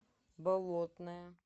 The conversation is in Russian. болотное